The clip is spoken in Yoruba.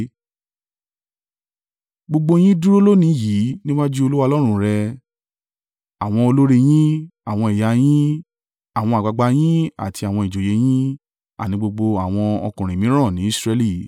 Gbogbo yín ń dúró lónìí yìí níwájú Olúwa Ọlọ́run rẹ: àwọn olórí yín, àwọn ẹ̀yà yín, àwọn àgbàgbà yín àti àwọn ìjòyè yín, àní gbogbo àwọn ọkùnrin mìíràn ní Israẹli,